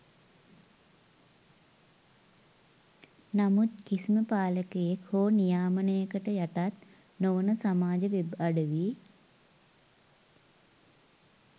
නමුත් කිසිම පාලකයෙක් හෝ නියාමනයකට යටත් නොවන සමාජ වෙබ් අඩවි